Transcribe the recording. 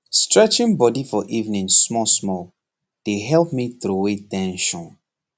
stretching body for evening small small dey help me throway ten sion